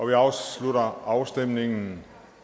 vi afslutter afstemningen